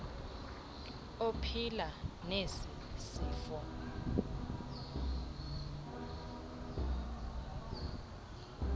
ophila nesi sifo